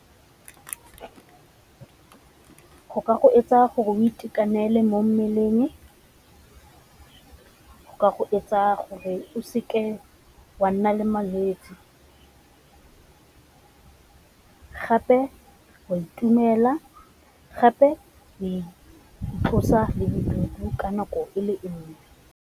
Go ka go etsa gore o itekanele mo mmeleng, go ka go etsa gore o seke wa nna le malwetse, gape o a itumela, gape di itlosa le bodutu ka nako e le nngwe.